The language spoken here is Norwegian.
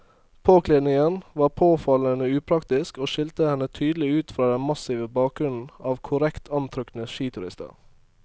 Påkledningen var påfallende upraktisk og skilte henne tydelig ut fra den massive bakgrunnen av korrekt antrukne skiturister.